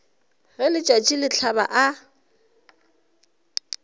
ge letšatši le hlaba a